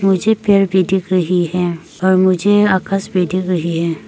मुझे पेड़ भी दिख रही है और मुझे आकाश भी दिख रही है।